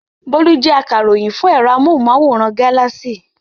Bólú jẹ́ akaròyìn fún ẹ̀rọ amóhùmáwòhán Galaxy.